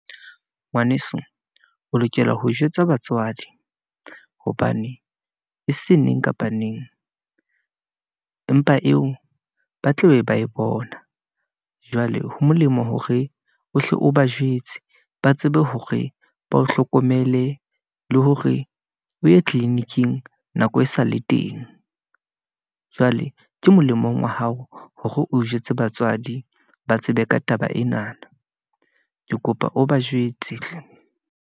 Ngwaneso o lokela ho jwetsa batswadi, hobane e seng neng kapa neng , mpa eo ba tla be ba e bona. Jwale ho molemo hore ohle o ba jwetse, ba tsebe hore ba o hlokomele, le hore o ye tliliniking nako e sa le teng . Jwale ke molemong wa hao hore o jwetse batswadi, ba tsebe ka taba enana. Ke kopa o bajwetse hle.